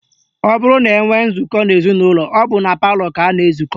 Ọ bụrụ na enwee nzụkọ n'ezinụlọ, ọ bụ na palọ ka a na-ezukọ